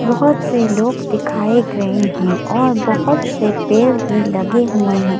बहुत से लोग दिखाए गए हैं और बहुत से पेड़ भी लगे हुए हैं।